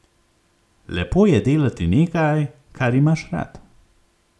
Lepo je delati nekaj, kar imaš rad.